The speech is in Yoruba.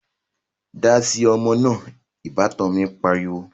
Dáasi ọmọ náà' Ìbátan mi pariwo